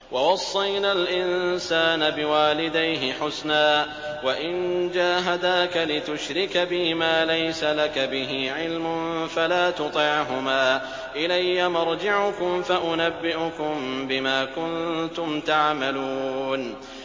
وَوَصَّيْنَا الْإِنسَانَ بِوَالِدَيْهِ حُسْنًا ۖ وَإِن جَاهَدَاكَ لِتُشْرِكَ بِي مَا لَيْسَ لَكَ بِهِ عِلْمٌ فَلَا تُطِعْهُمَا ۚ إِلَيَّ مَرْجِعُكُمْ فَأُنَبِّئُكُم بِمَا كُنتُمْ تَعْمَلُونَ